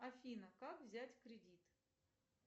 афина как взять кредит